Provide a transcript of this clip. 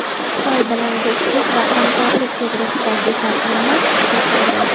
Xitoy bilan do‘stlik va hamkorlik to‘g‘risidagi shartnoma kuchga kirdi.